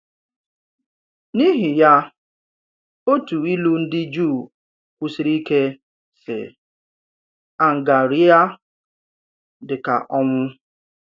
N’ìhì ya, òtù ìlu ndì Jùù kwùsìrì ike, sị: “Àngàréìà dị kà ọnwụ.”